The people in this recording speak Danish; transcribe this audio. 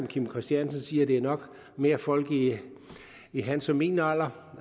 kim christiansen siger at det nok mere er folk i i hans og min alder